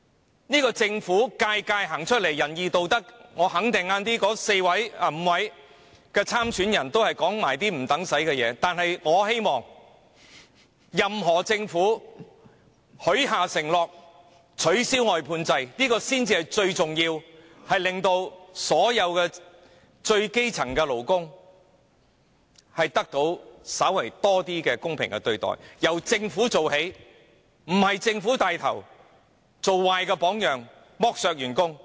每一屆政府都滿口仁義道德，我肯定稍後5位特首參選人也只會說一些無關痛癢的話，但我希望下屆政府，不論由誰領導，最重要是取消外判制度，讓所有基層勞工得到稍為公平的對待，這目標應由政府做起，政府不應帶頭做壞榜樣，剝削員工。